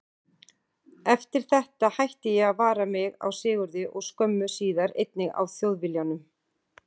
Eftir þetta hætti ég að vara mig á Sigurði og skömmu síðar einnig á Þjóðviljanum.